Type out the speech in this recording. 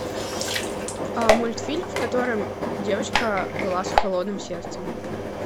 мультфильм в котором девочка была с холодным сердцем